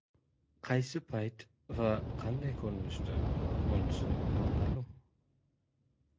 Qaysi payt va qanday ko‘rinishda, bunisi noma’lum.